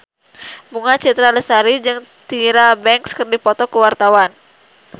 Bunga Citra Lestari jeung Tyra Banks keur dipoto ku wartawan